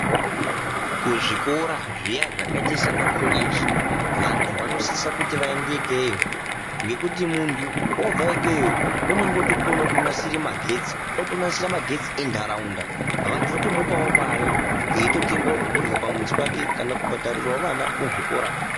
Kuzvikora zviya zvakaita sana koleji, vantu vanosisa kuti vaende ikeyo ngekuti muntu obva ikeyo unongo otokona kunasire magetsi unonasire magetsi enharaunda. Vantu votomupavo mare eitotengavo zvekurya pamuzi pake kana kubhadhariravo vana muzvikora.